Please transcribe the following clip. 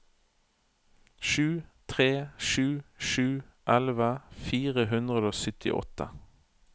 sju tre sju sju elleve fire hundre og syttiåtte